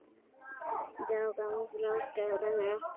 Dragáin Fnjóská rennur eftir honum.